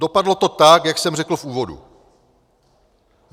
Dopadlo to tak, jak jsem řekl v úvodu.